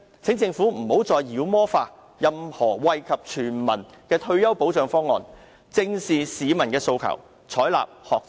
請政府不要再妖魔化任何惠及全民的退休保障方案，正視市民的訴求，採納學者方案。